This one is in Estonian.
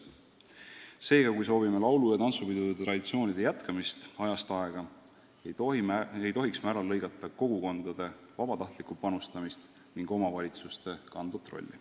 Seega, kui soovime laulu- ja tantsupidude traditsioonide jätkumist ajast aega, ei tohiks me ära lõigata kogukondade vabatahtlikku panustamist ning omavalitsuste kandvat rolli.